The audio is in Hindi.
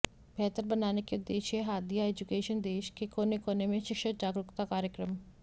बेहतर बनाने के उद्देश्य हादीया एजुकेशन देश के कोने कोने में शिक्षा जागरूकता कार्यक्रम